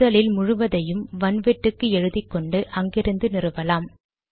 முதலில் முழுவதையும் வன்வட்டுக்கு எழுதிக்கொண்டு அங்கிருந்து நிறுவலாம்